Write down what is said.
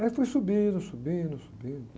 Aí fui subindo, subindo, subindo...